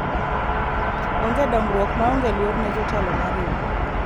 onge dongruok maonge luor ne jotelo mar riwruok